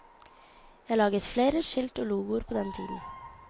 Jeg laget flere skilt og logoer på den tiden.